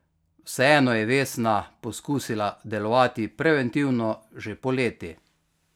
Vseeno je Vesna poskusila delovati preventivno že poleti.